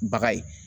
Baga ye